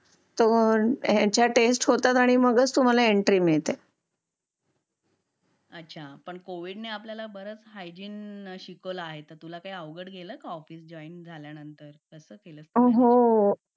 तर मग यांच्या टेस्ट होतात आणि मगच तुम्हाला येंत्री मिळते अच्छा पण कविड ने आपल्याला बरच स्वच्छता शिकावला अहे तुला कही अवघड गेला का ऑफिस जॉईन झायला नंतेर कास केल